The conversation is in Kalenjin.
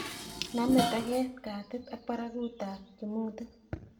Name toget, katit ak baragutab kimutit